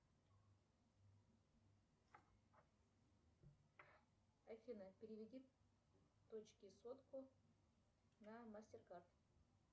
афина переведи дочке сотку на мастеркард